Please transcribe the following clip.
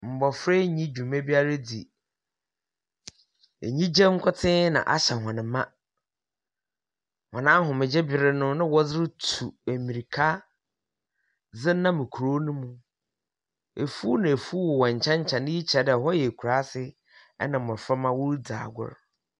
Mbofra yi nyi dwuma biara dzi. Enyigye nkotsee na ahyɛ hɔn ma. Wɔn ahomegye ber no na wɔdze rutu mbirka dze nam kurow no mu. Efuw na efuw wowɔ nkyɛn nkyɛn. Iyi kyerɛ dɛ hɔ yɛ ekuraase, na mbɔframba woridzi agor.